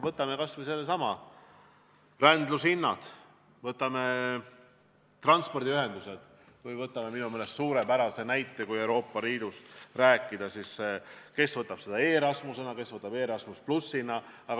Võtame kas või rändlushinnad, transpordiühendused või minu meelest selle suurepärase näite, kui Euroopa Liidust rääkida, mis kellegi arvates on Erasmus ja kellegi arvates Erasmus+.